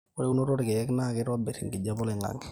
ore eunoto olkeek naa keitoirr enkijape oloing'ang'e